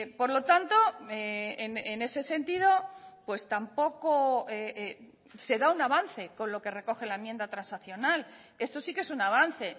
por lo tanto en ese sentido pues tampoco se da un avance con lo que recoge la enmienda transaccional eso sí que es un avance